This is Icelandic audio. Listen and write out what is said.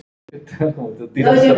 Hann þagði enn góða stund.